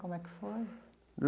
Como é que foi?